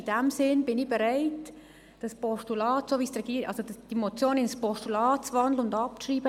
In diesem Sinne bin ich bereit, die Motion in ein Postulat zu wandeln und abzuschreiben.